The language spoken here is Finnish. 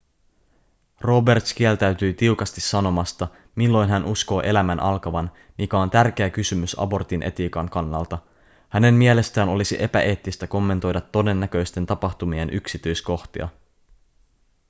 roberts kieltäytyi tiukasti sanomasta milloin hän uskoo elämän alkavan mikä on tärkeä kysymys abortin etiikan kannalta hänen mielestään olisi epäeettistä kommentoida todennäköisten tapahtumien yksityiskohtia